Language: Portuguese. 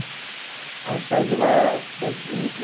Aí eu saio de lá dez e vinte.